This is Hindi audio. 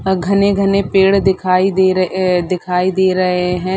घने घने पेड़ दिखाई दे रहे अअअ दिखाई दे रहे हे।